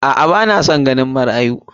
A'a ba na san ganin marayu.